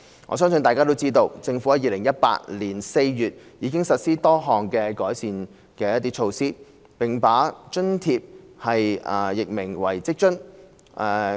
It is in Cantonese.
我相信大家都知道，政府在2018年4月已實施多項改善措施，並把該津貼易名為職津。